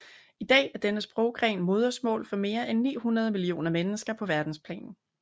I dag er denne sproggren modersmål for mere end 900 millioner mennesker på verdensplan